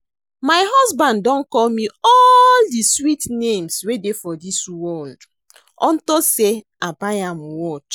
My husband don call me all the sweet names wey dey for dis world unto say I buy am watch